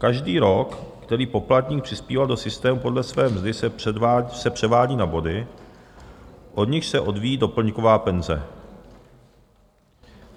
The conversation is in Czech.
Každý rok, který poplatník přispíval do systému podle své mzdy, se předvádí na body, od nichž se odvíjí doplňková penze.